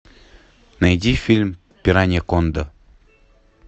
найди фильм пираньяконда